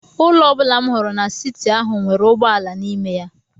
Ụlọ ọ bụla m hụrụ n'siti ahụ nwere ụgbọ ala n’ime ya.